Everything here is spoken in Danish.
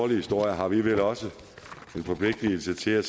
historier har vi vel også en forpligtelse til at